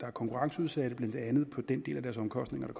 er konkurrenceudsatte blandt andet på den del af deres omkostninger der